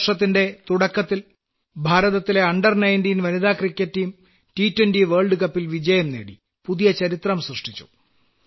ഈ വർഷത്തിന്റെ തുടക്കത്തിൽ ഭാരതത്തിലെ അണ്ടർ 19 വനിതാ ക്രിക്കറ്റ് ടീം ടി 20 ലോക കപ്പിൽ വിജയം നേടി പുതിയ ചരിത്രം സൃഷ്ടിച്ചു